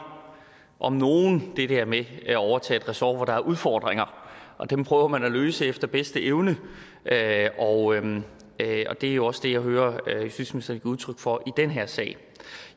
om nogen det der med at overtage et ressort hvor der er udfordringer og dem prøver man at løse efter bedste evne og det er jo også det jeg hører justitsministeren give udtryk for i den her sag